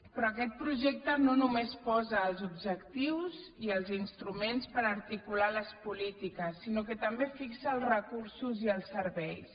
però aquest projecte no només posa els objectius i els instruments per articular les polítiques sinó que també fixa els recursos i els serveis